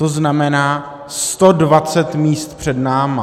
To znamená 120 míst před námi.